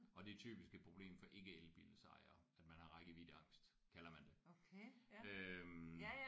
Og det er typisk et problem for ikke elbilejere at man har rækkeviddeangst kalder man det øh